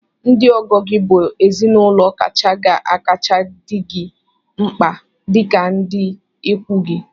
Ndị ọgọ gị bụ ezinaụlọ kacha ga-akacha dị gị mkpa dịka ndị ikwu gị